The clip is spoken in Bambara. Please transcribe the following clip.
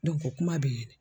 kuma bɛ yen